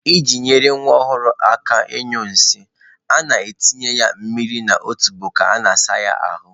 I ji nyere nwa ọhụrụ aka ịnyụ nsị, a na-atụnye ya mmiri n'otubo ka a na-asa ya ahụ.